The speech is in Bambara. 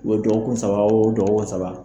U ye dɔgɔkun saba wo dɔgɔkun saba